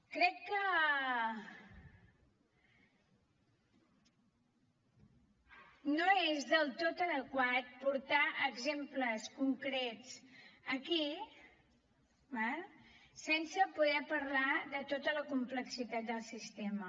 crec que no és del tot adequat portar exemples concrets aquí d’acord sense poder parlar de tota la complexitat del sistema